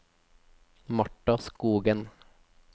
Martha Skogen